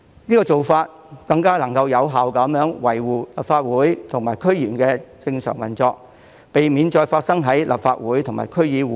這做法能更有效維護立法會和區議會的正常運作，避免再次發生亂象。